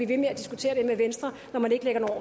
ved med at diskutere det med venstre når man ikke lægger